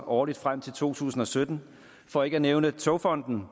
årligt frem til to tusind og sytten for ikke at nævne togfonden